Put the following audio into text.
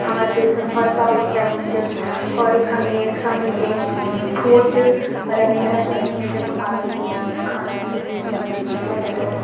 हमर देश क भोत टॉप क बैंक च और यखम एक समिणी एक फ़ूड च मतलब एक रेस्टोरेंट च जखम आकन लोग खाना खदीन मजा करदीन ।